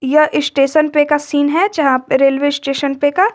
यह स्टेशन पे का सीन है जहां पर रेलवे स्टेशन पे का।